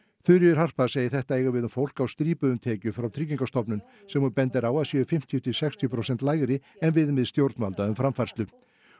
Þuríður Harpa segir þetta eiga við um fólk á strípuðum tekjum frá Tryggingastofnun sem hún bendir á að séu fimmtíu til sextíu prósenta lægri en viðmið stjórnvalda um framfærslu